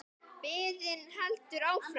Biðin heldur áfram.